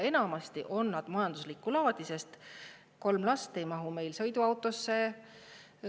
Enamasti on need majanduslikku laadi, sest kolm last ei mahu sõiduautosse.